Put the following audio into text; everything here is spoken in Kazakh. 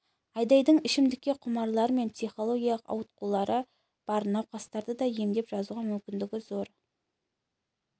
айдайдың ішімдікке құмарлар мен психологиялық ауытқулары бар науқастарды да емдеп жазуға мүмкіндігі зор